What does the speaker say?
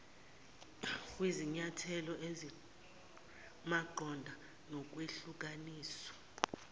kwizinyathelo ezimaqondana nokwehlukaniswa